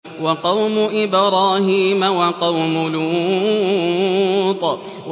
وَقَوْمُ إِبْرَاهِيمَ وَقَوْمُ لُوطٍ